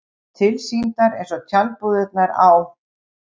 Tilsýndar eins og tjaldbúðirnar á